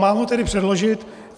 Mám ho tedy předložit.